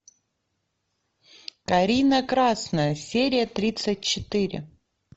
карина красная серия тридцать четыре